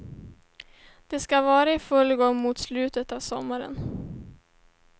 Den ska vara i full gång mot slutet av sommaren.